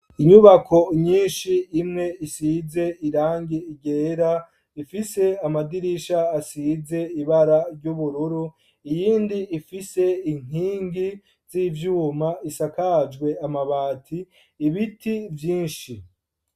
Inyubako nyinshi, imwe isize irangi ryera, ifise amadirisha, asize ibara ry'ubururu, iyindi ifise inkingi z'ivyuma, isakajwe amabati; ibiti vyinshi.